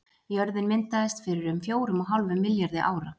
Jörðin myndaðist fyrir um fjórum og hálfum milljarði ára.